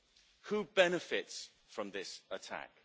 Who benefits from this attack?',